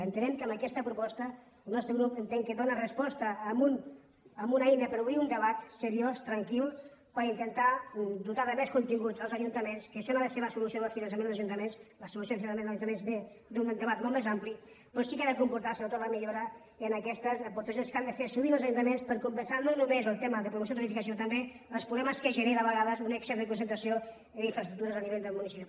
entenem que amb aquesta proposta el nostre grup entén que dóna resposta amb una eina per obrir un debat seriós tranquil per intentar dotar de més continguts els ajuntaments que això no ha de ser la solució del finançament dels ajuntaments la solució del finançament dels ajuntaments ve d’un debat molt més ampli però sí que ha de comportar sobretot la millora en aquestes aportacions que han de fer sovint els ajuntaments per compensar no només el tema de promoció turística sinó també els problemes que genera a vegades un excés de concentració en infraestructures a nivell del municipi